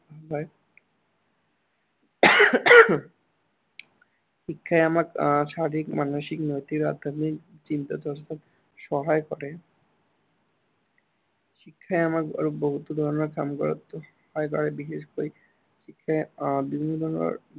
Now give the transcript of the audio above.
শিক্ষাই আমাক আহ শাৰিৰীক, মানসিক, নৈতিক আধ্য়াত্মিক চিন্তা-চৰ্চাত সহায় কৰে। শিক্ষাই আমাক আৰু বহুতো ধৰনৰ কাম কৰাত সহায় কৰে। আৰু বিশেষকৈ শিক্ষাই আহ বিভিন্ন ধৰনৰ